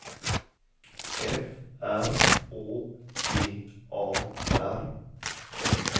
F R Å G A R